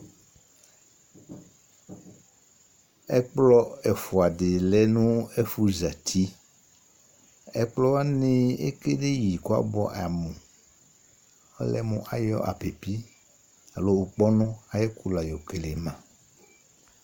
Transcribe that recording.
Ɛkplɔ ɛfʋa di ya nʋ ɛfʋ zɛti Ɛkplɔ wani, ekele ma kʋ abʋɛ amu Ɔlɛmu ayɔ apipi alo ʋkpɔnu ayʋ ɛkʋ la yɔkele ma